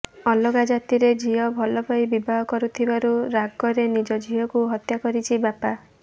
ଅଲଗା ଜାତିରେ ଝିଅ ଭଲପାଇ ବିବାହ କରୁଥିବାରୁ ରାଗରେ ନିଜ ଝିଅକୁ ହତ୍ୟା କରିଛି ବାପା